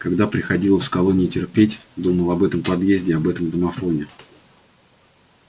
когда приходилось в колонии терпеть думал об этом подъезде об этом домофоне